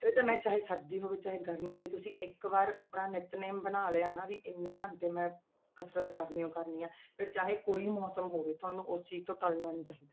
ਇਹ ਤਾਂ ਮੈਂ ਚਾਹੇ ਸਰਦੀ ਹੋਵੇ ਚਾਹੇ ਗਰਮੀ, ਜੇ ਤੁਸੀਂ ਇੱਕ ਵਾਰ ਆਪਣਾ ਨਿਤਨੇਮ ਬਣਾ ਲਿਆ ਨਾ ਵੀ ਇੰਨੇ ਘੰਟੇ ਮੈਂ ਕਸ਼ਰਤ ਕਰਨੀ ਹੀ ਕਰਨੀ ਹੈ, ਫਿਰ ਚਾਹੇ ਕੋਈ ਵੀ ਮੌਸਮ ਹੋਵੇ ਤੁਹਾਨੂੰ ਉਸ ਚੀਜ਼ ਤੋਂ ਟਲਣਾ ਨੀ ਚਾਹੀਦਾ।